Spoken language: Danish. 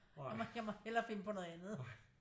Jeg må hellere finde på noget andet